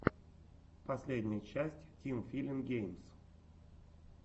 последняя часть тим филин геймс